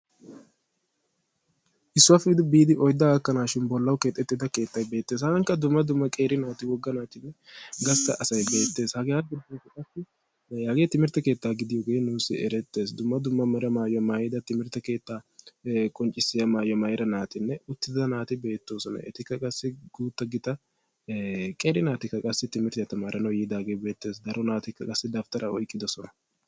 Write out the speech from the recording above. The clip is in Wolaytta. Issuwappe biidi oydda gakkanashin bollawu keexettida keettay beetees. Hagaan qa dumma dumma qeeri naati woggaa naati gastta asay beettees. Hagaape qassi hagee timirtte keetta gidiyoge nuussi ereetees. Dumma dumma meera maayuwa maayida timirtte keetta qonccissiya maayuwa maayida naatinne uttida naati beetosona. Etikka qassi gutta gita qeeri naatika qassi timirttiya tamaranawu yidage beetes. Daro naatikka qassi dawuttara oyqqidosona.